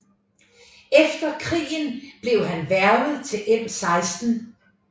Efter krigen blev han hvervet til MI6